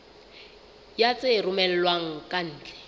ya tse romellwang ka ntle